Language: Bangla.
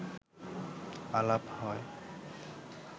আলাপ হয়